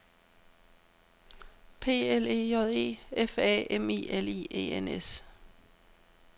P L E J E F A M I L I E N S